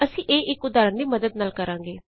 ਅਸੀਂ ਇਹ ਇਕ ਉਦਾਹਰਣ ਦੀ ਮੱਦਦ ਨਾਲ ਕਰਾਂਗੇ